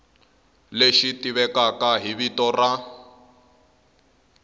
lexi tivekaka hi vito ra